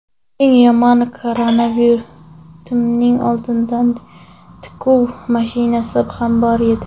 Eng yomoni, karavotimning oldida tikuv mashinasi ham bor edi.